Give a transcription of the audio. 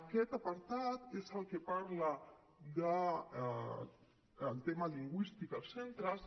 aquest apartat és el que parla del tema lingüístic als centres